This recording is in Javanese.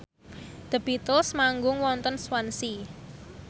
The Beatles manggung wonten Swansea